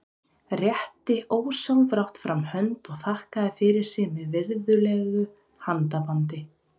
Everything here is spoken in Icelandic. Rétti ósjálfrátt fram hönd og þakkaði fyrir sig með virðulegu handabandi.